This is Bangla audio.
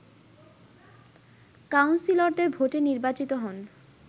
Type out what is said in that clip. কাউন্সিলরদের ভোটে নির্বাচিত হন